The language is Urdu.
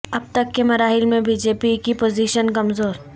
اب تک کے مراحل میں بی جے پی کی پوزیشن کمزور